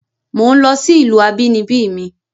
Mò ń lọ sí ìlú abínibí mi